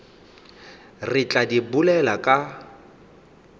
re tla di bolela ka